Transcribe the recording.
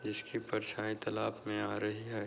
इसकी परछाई तलाप में आ रही है।